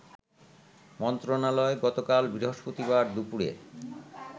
মন্ত্রণালয় গতকাল বৃহস্পতিবার দুপুরে